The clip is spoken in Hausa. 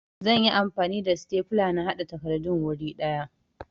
Zan yi amfani da sitefula na haɗa takardun wuri ɗaya